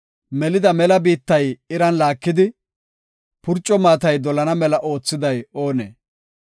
Melida mela biittay iran laakidi, purco maatay dolana mela oothiday oonee?